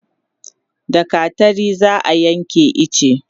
da gattari za'a Yanke iche